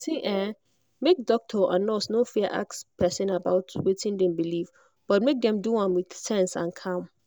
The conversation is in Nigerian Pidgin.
see ehnmake doctor and and nurse no fear ask person about wetin dem believe but make dem do am with sense and calm.